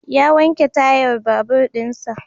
Ya wanke tayar babur din sa.